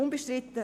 Unbestritten…